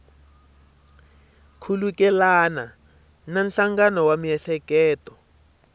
khulukelana na nhlangano wa miehleketo